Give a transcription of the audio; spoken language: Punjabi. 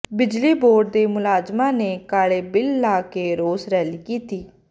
ਬਿਜਲੀ ਬੋਰਡ ਦੇ ਮੁਲਾਜ਼ਮਾਂ ਨੇ ਕਾਲੇ ਬਿੱਲੇ ਲਾ ਕੇ ਰੋਸ ਰੈਲੀ ਕੀਤੀ